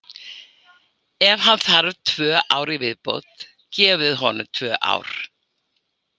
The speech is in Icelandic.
Ef hann þarf tvö ár í viðbót, gefið honum tvö ár.